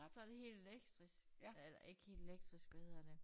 Så det helt elektrisk eller ikke helt elektrisk hvad hedder det